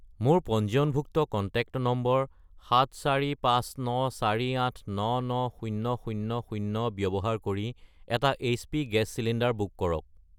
মোৰ পঞ্জীয়নভুক্ত contact number 74,59,48,99000 ব্যৱহাৰ কৰি এটা এইচপি গেছ চিলিণ্ডাৰ বুক কৰক।